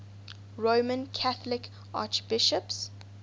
roman catholic archbishops